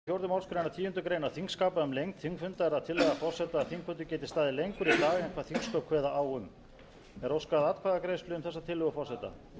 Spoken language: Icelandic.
þrátt fyrir ákvæði fjórðu málsgreinar tíundu greinar þingskapa um lengd þingfundar er það tillaga forseta að þingfundur geti staðið lengur í dag en þingsköp kveða á um þar sem ekki